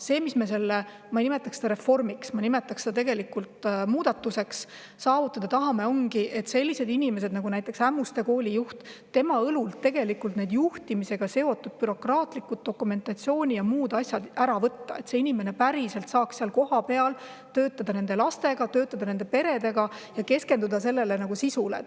See, mis me sellega – ma ei nimetaks seda reformiks, vaid muudatuseks – saavutada tahame, ongi see, et selliste inimeste, nagu näiteks Ämmuste Kooli juht, õlult need juhtimisega seotud bürokraatlikud dokumentatsiooni- ja muud taolised asjad ära võtta, et see inimene päriselt saaks seal kohapeal töötada lastega, nende peredega ja keskenduda sisule.